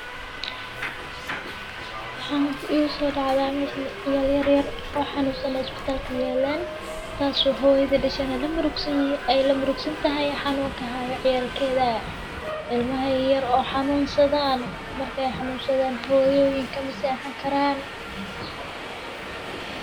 maxa igu soo dhacdaa, meshaan ciyaar yar yar oo xanuunsan cunaa hospitalka iyo allaan taasoo hooyada dhisana la murugsanyihiin. Ay la murugsan tahay xanuunka haayo ciyaarkeda ilmahay yar oo xanuunsadaan markay xanuunsadaan hooyooyinka mase aha karan.